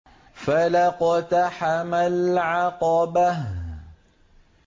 فَلَا اقْتَحَمَ الْعَقَبَةَ